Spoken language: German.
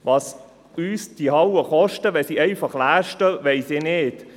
Was uns diese Hallen kosten, wenn sie einfach leer stehen, weiss ich nicht.